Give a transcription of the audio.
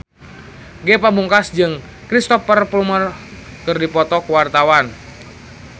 Ge Pamungkas jeung Cristhoper Plumer keur dipoto ku wartawan